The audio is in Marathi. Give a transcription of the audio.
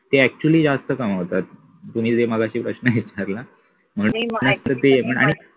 ते actually जास्त कमवतात तुम्ही जे मघाशी प्रश्न विचारला